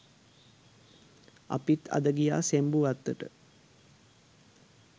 අපිත් අද ගියා සෙම්බු වත්තට.